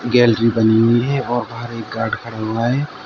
Gallery बनी हुई है और बाहर एक गार्ड खड़ा हुआ है।